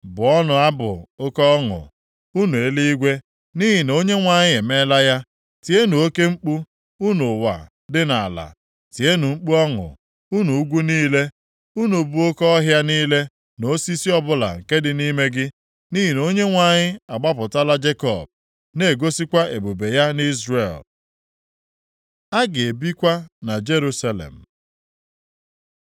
Bụọnụ abụ oke ọṅụ, unu eluigwe, nʼihi na Onyenwe anyị emeela ya; tienụ oke mkpu, unu ụwa dị nʼala. Tienụ mkpu ọṅụ, unu ugwu niile, unu bụ oke ọhịa niile na osisi ọbụla nke dị nʼime gị, nʼihi na Onyenwe anyị agbapụtala Jekọb, na-egosikwa ebube ya nʼIzrel. A ga-ebikwa na Jerusalem